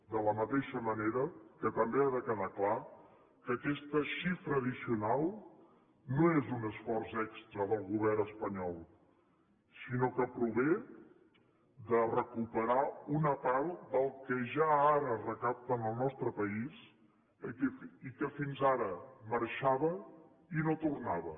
de la mateixa manera que també ha de quedar clar que aquesta xifra addicional no és un esforç extra del govern espanyol sinó que prové de recuperar una part del que ja ara es recapta en el nostre país i que fins ara marxava i no tornava